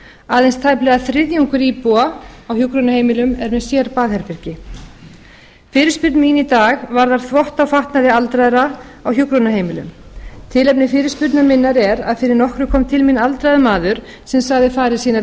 aðeins tæplega þriðjungur íbúa á hjúkrunarheimilum er með sérbaðherbergi fyrirspurn mín í dag varðar þvott á fatnaði aldraðra á hjúkrunarheimilum tilefni fyrirspurnar minnar er að fyrir nokkru kom til mín aldraður maður sem sagði farir sínar